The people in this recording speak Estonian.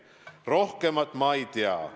Rohkemat ma ei tea.